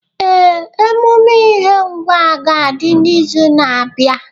Ee, emume ihe nwa ga adi n'izu na-abịa.